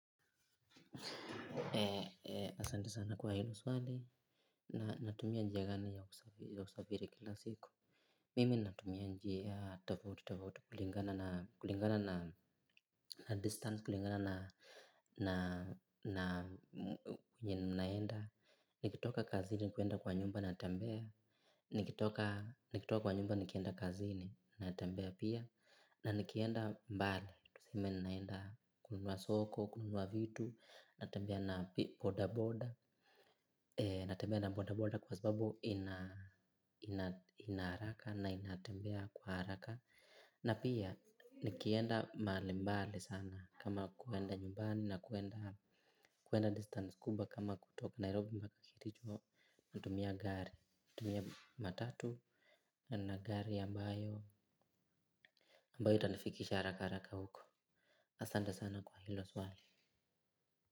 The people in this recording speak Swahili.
Asanti sana kwa hilo swali na natumia njia gani ya usafiri kila siku. Mimi natumia njia tofauti tafauti kulingana na distance, kulingana na kwenye ninaenda. Nikitoka kazini, kwenda kwa nyumba na tembea. Nikitoka kwa nyumba, nikienda kazini na tembea pia. Na nikienda mbali, tuseme ninaenda kununua soko, kununua vitu, natembea na boda boda, natembea na boda boda kwa sababu ina haraka na ina tembea kwa haraka. Na pia nikienda mahali mbali sana kama kwenda nyumbani na kwenda distance kubwa kama kutoka Nairobi mbaka kericho, natumia gari, natumia matatu na gari ambayo, ambayo itanifikisha haraka haraka huko. Asante sana kwa hilo swali.